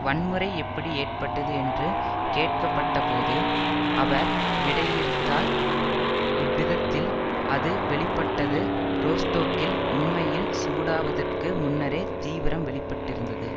வன்முறை எப்படி ஏற்பட்டது என்று கேட்கப்பட்டபோது அவர் விடையிறுத்தார் இவ்விதத்தில் அது வெளி பட்டது ரோஸ்டோக்கில் உண்மையில் சூடாவதற்கு முன்னரே தீவிரம் வெளிப்பட்டிருந்தது